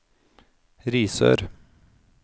Risør